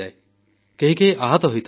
କେହି କେହି ଆହତ ହୋଇଥାନ୍ତି